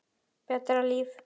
Betra líf.